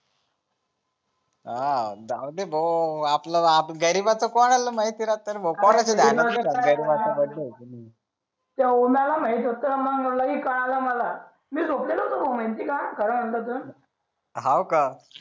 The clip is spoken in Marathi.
जाऊ दे भाऊ आपल आप गरीबाच कोणाला माहित राहते रे भाऊ कोणाला माहित होत मग मलाही कळाल मला मी झोपलेलं होत भाऊ माहिती आहे का खर म्हटल तर हॉ का